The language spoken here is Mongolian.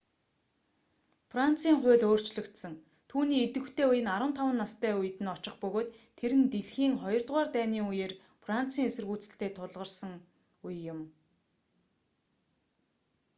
францын хууль өөрчлөгдсөн түүний идвэхтэй үе нь 15 настай үед нь очих бөгөөд тэр нь дэлхийн хоёрдугаар дайны үеэр францын эсэргүүцэлтэй тулгарасэн үе юм